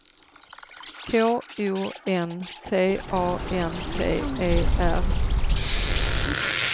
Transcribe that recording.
K O N T A N T E R